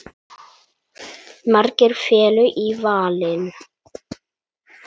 Margir féllu í valinn.